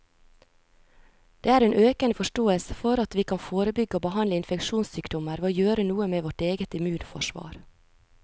Det er en økende forståelse for at vi kan forebygge og behandle infeksjonssykdommer ved å gjøre noe med vårt eget immunforsvar.